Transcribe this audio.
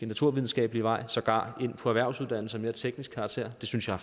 naturvidenskabelige vej sågar går ind på erhvervsuddannelser af mere teknisk karakter og det synes jeg